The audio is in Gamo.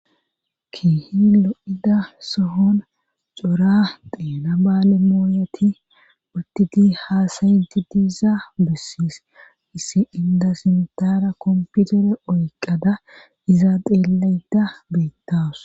kiihi lo7ida sohon cora deena baale mooyeti uttiti haasayiti diiza bussis issi inda simtara komputere oyqada izaa xeellayda beettas